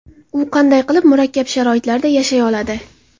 U qanday qilib murakkab sharoitlarda yashay oladi ?